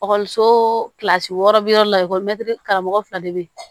Ekɔliso kilasi wɔɔrɔ bi yɔrɔ la ekɔli mɛ karamɔgɔ fila de bɛ yen